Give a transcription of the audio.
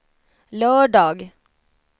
lördag